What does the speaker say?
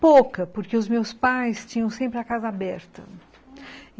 Pouca, porque os meus pais tinham sempre a casa aberta, uhum.